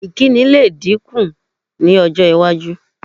Ìkíni lè dínkù ní ọj́-iwájú.